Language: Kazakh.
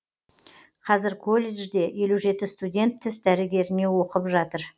қазір колледжде елу жеті студент тіс дәрігеріне оқып жатыр